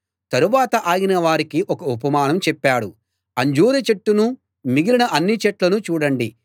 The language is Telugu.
తరువాత ఆయన వారికి ఒక ఉపమానం చెప్పాడు అంజూర చెట్టునూ మిగిలిన అన్ని చెట్లనూ చూడండి